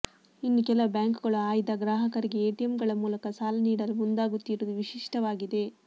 ಇನ್ನು ಕೆಲ ಬ್ಯಾಂಕುಗಳು ಆಯ್ದ ಗ್ರಾಹಕರಿಗೆ ಎಟಿಎಂಗಳ ಮೂಲಕ ಸಾಲ ನೀಡಲು ಮುಂದಾಗುತ್ತಿರುವುದು ವಿಶಿಷ್ಟವಾಗಿದೆ